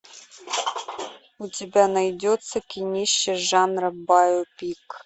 у тебя найдется кинище жанра байопик